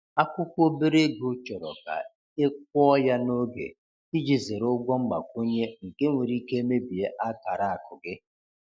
Akwụkwọ obere ego chọrọ ka e kwụọ ya n’oge, iji zere ụgwọ mgbakwunye nke nwere ike mebie akara akụ gị.